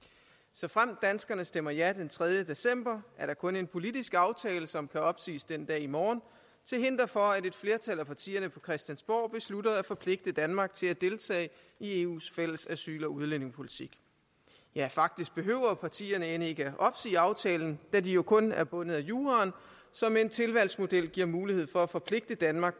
såfremt danskerne stemmer ja den tredje december er der kun en politisk aftale som kan opsiges den dag i morgen til hinder for at et flertal af partierne på christiansborg beslutter at forpligte danmark til at deltage i eus fælles asyl og udlændingepolitik ja faktisk behøver partierne end ikke opsige aftalen da de jo kun er bundet af juraen som med en tilvalgsmodel giver mulighed for at forpligte danmark